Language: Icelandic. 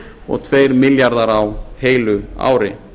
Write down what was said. og tveir milljarðar á heilu ári